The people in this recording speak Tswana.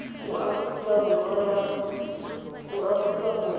mo aforika borwa go ya